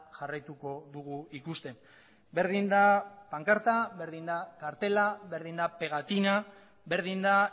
jarraituko dugu ikusten berdin da pankarta berdin da kartela berdin da pegatina berdin da